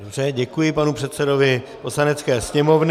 Dobře, děkuji panu předsedovi Poslanecké sněmovny.